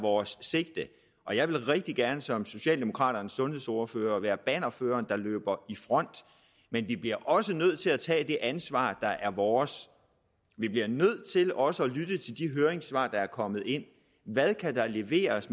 vores sigte og jeg vil rigtig gerne som socialdemokraternes sundhedsordfører være bannerføreren der løber i front men vi bliver også nødt til at tage det ansvar der er vores vi bliver nødt til også at lytte til de høringssvar der er kommet ind hvad kan der leveres